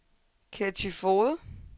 Ketty Foged